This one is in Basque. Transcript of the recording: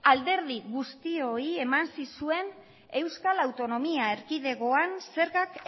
alderdi guztioi eman zizuen euskal autonomia erkidegoan zergak